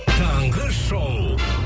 таңғы шоу